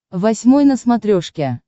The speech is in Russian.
восьмой на смотрешке